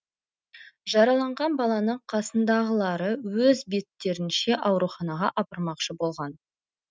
жараланған баланы қасындағылары өз беттерінше ауруханаға апармақшы болған